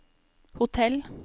hotell